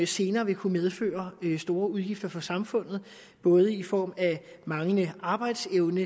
senere ville kunne medføre store udgifter for samfundet både i form af manglende arbejdsevne